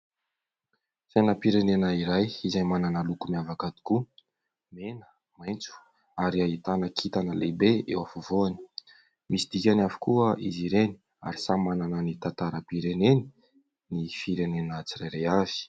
Sainam-pirenena iray izay manana loko miavaka tokoa : mena, maitso ary ahitana kintana lehibe eo afovoany. Misy dikany avokoa izy ireny ary samy manana ny tantaram-pireneny ny firenena tsirairay avy.